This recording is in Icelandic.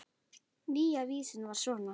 Nýja vísan var svona: